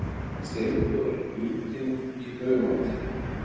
Steindór er hnípinn í humáttinni.